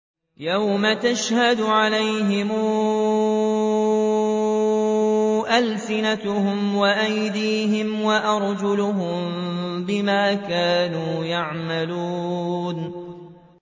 يَوْمَ تَشْهَدُ عَلَيْهِمْ أَلْسِنَتُهُمْ وَأَيْدِيهِمْ وَأَرْجُلُهُم بِمَا كَانُوا يَعْمَلُونَ